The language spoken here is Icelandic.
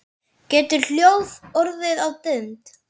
Getur hljóð orðið að mynd?